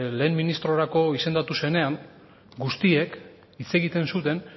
lehen ministrorako izendatu zenean guztiek hitz egiten zuten